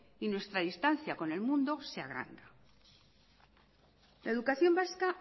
y nuestra distancia con el mundo se agranda la educación vasca